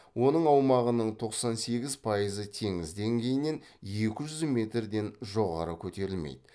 оның аумағынынң тоқсан сегіз пайызы теңіз деңгейінен екі жүз метрден жоғары көтерілмейді